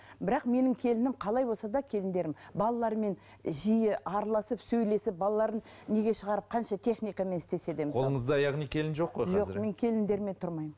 бірақ менің келінім қалай болса да келіндерім балалармен жиі араласып сөйлесіп балаларын неге шығарып қанша техникамен істесе де мысалы қолыңызда яғни келін жоқ қой қазір жоқ мен келіндеріммен тұрмаймын